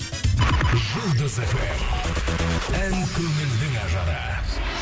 жұлдыз эф эм ән көңілдің ажары